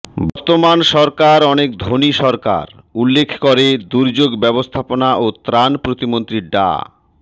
বর্তমান সরকার অনেক ধনী সরকার উল্লেখ করে দুর্যোগ ব্যবস্থাপনা ও ত্রাণ প্রতিমন্ত্রী ডা